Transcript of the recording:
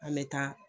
An bɛ taa